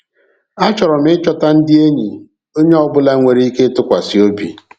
A chọrọ m ịchọta ndị enyi onye ọ bụla nwere ike ịtụkwasị obi.